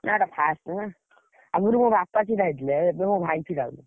ନା ଏଇଟା first ନା, ଆଗୁରୁ ମୋ ବାପା ଛିଡା ହେଇଥିଲେ, ଏବେ ମୋ ଭାଇ ଛିଡା ହଉଛି।